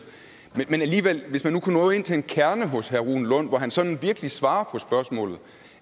men hvis man nu kunne nå ind til kernen hos herre rune lund hvor han sådan virkelig svarede på spørgsmålet